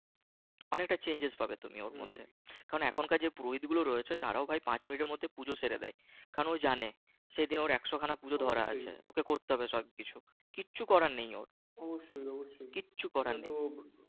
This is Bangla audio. অনেকটা chance পাবে তুমি ওর মধ্যে কারণ এখন কার পুরোহিত গুলো রয়েছে তারাও ভাই পাঁচ মিনিটের মধ্যে পূজো সেরে দেয় কারণ ওই জানে কারণ জানে সে যেন ওর একশ খানা পূজো ধরা আছে তাকে করতে হবে কিচ্ছু করার নেইও কিচ্ছু করার নেই